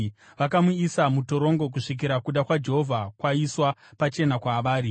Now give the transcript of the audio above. Vakamuisa mutorongo kusvikira kuda kwaJehovha kwaiswa pachena kwavari.